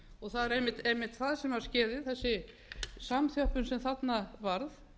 og það er einmitt það sem skuli þessi samþjöppun sem þarna varð